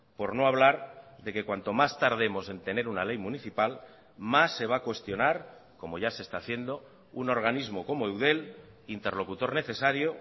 por no hablar de que cuanto más tardemos en tener una ley municipal más se va a cuestionar como ya se está haciendo un organismo como eudel interlocutor necesario